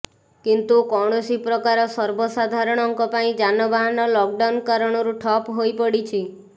କିନ୍ତୁ କୌଣସି ପ୍ରକାର ସର୍ବସାଧାରଣଙ୍କ ପାଇଁ ଯାନବାହନ ଲକଡାଉନ କାରଣରୁ ଠପ ହୋଇ ପଡ଼ିଛି